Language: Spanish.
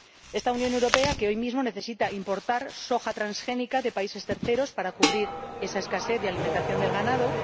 Esta Unión Europea que hoy mismo necesita importar soja transgénica de países terceros para cubrir esa escasez de alimentación del ganado.